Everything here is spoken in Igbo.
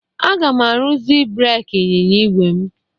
Aga m arụzi breeki anyịnya igwe m.